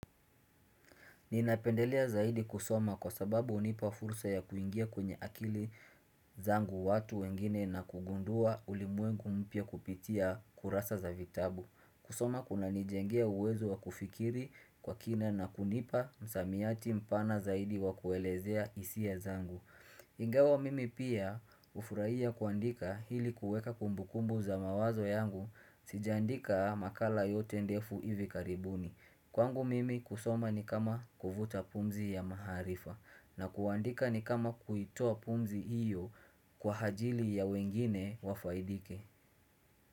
Ninapendelea zaidi kusoma kwa sababu hunipa fursa ya kuingia kwenye akili zangu watu wengine na kugundua ulimwengu mpya kupitia kurasa za vitabu. Kusoma kuna nijengea uwezo wa kufikiri kwa kina na kunipa msamiati mpana zaidi wa kuelezea hisi a zangu. Ingawa mimi pia hufuraia kuandika hili kuweka kumbukumbu za mawazo yangu sijaandika makala yote ndefu ivi karibuni. Kwangu mimi kusoma ni kama kuvuta pumzi ya maharifa na kuandika ni kama kuitoa pumzi hiyo kwa hajili ya wengine wafaidike.